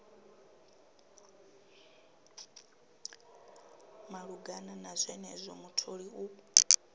malugana na zwenezwo mutholi u